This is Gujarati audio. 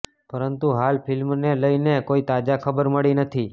પરંતુ હાલ ફિલ્મને લઈને કોઈ તાજા ખબર મળી નથી